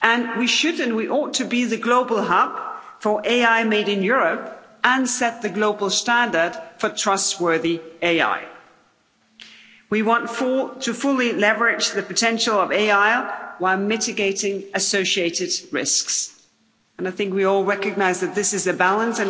We ought to be the global hub for AI Made in Europe and set the global standard for trustworthy AI. We want to fully leverage the potential of AI while mitigating associated risks, and I think we all recognise that this is the balance.